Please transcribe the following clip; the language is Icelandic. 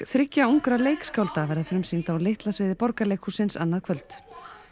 þriggja ungra leikskálda verða frumsýnd á Litla sviði annað kvöld